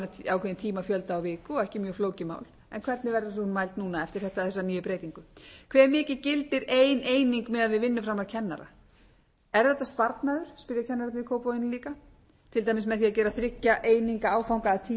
ákveðinn tímafjölda á viku og ekki mjög flókið mál en hvernig verður hún mæld núna eftir þessa nýju breytingu hvað mikið gildir ein eining miðað við vinnuframlag kennara er þetta sparnaður spyrja kennararnir í kópavoginum líka til dæmis með því að gera þriggja eininga áfanga að tíu